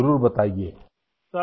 Dinesh Upadhyay جی